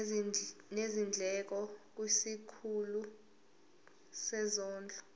nezindleko kwisikhulu sezondlo